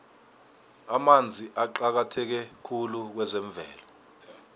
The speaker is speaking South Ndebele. amanzi aqakatheke khulu kwezemvelo